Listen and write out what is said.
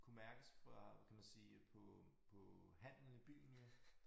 Kunne mærkes fra hvad kan man sige på på handlen i byen jo